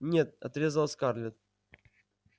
нет отрезала скарлетт